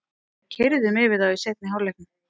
Keyrðum yfir þá í seinni hálfleiknum